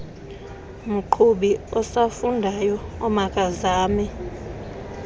mqhubi osafundayo omakazame